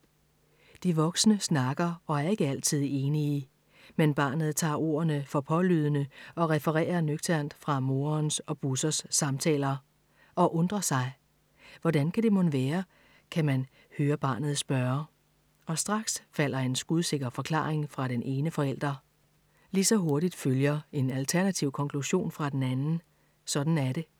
De voksne snakker og er ikke altid enige. Men barnet tager ordene for pålydende og refererer nøgternt fra morens og Bussers samtaler. Og undrer sig. Hvordan kan det mon være, kan man høre barnet spørge. Og straks falder en skudsikker forklaring fra den ene forælder. Lige så hurtigt følger en alternativ konklusion fra den anden. Sådan er det!